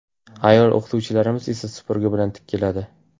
Ayol o‘qituvchilarimiz esa supurgi bilan keladi.